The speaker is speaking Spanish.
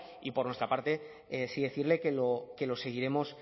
y por nuestra parte sí decirle que lo seguiremos